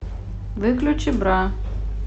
выключи бра